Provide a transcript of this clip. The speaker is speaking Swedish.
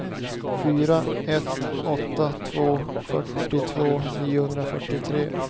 fyra ett åtta två fyrtiotvå niohundrafyrtiotre